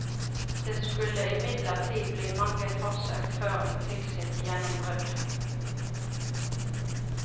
Det skulle imidlertid bli mange forsøk før hun fikk sitt gjennombrudd.